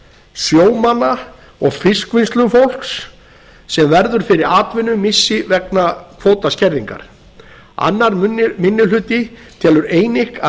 sjómanna og fiskvinnslufólks sem verður fyrir atvinnumissi vegna kvótaskerðingar annar minni hluti telur að